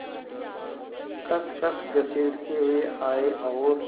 खसखस घसीटते हुए आए और